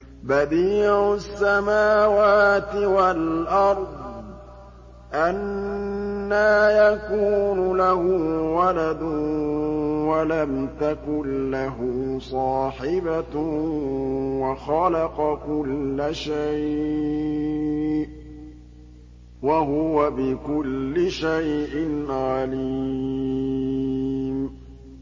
بَدِيعُ السَّمَاوَاتِ وَالْأَرْضِ ۖ أَنَّىٰ يَكُونُ لَهُ وَلَدٌ وَلَمْ تَكُن لَّهُ صَاحِبَةٌ ۖ وَخَلَقَ كُلَّ شَيْءٍ ۖ وَهُوَ بِكُلِّ شَيْءٍ عَلِيمٌ